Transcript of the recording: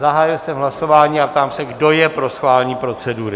Zahájil jsem hlasování a ptám se, kdo je pro schválení procedury?